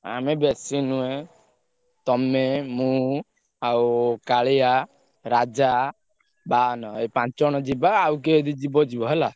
ଆମେ ବେଶୀ ନୁହେଁ। ତମେ, ମୁଁ ଆଉ କାଳିଆ ରାଜା ବାହନ ଏଇ ପାଞ୍ଚ ଜଣ ଯିବା ଆଉ କିଏ ଯଦି ଯିବ ଯିବ ହେଲା।